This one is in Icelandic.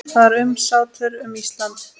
Það var umsátur um Ísland.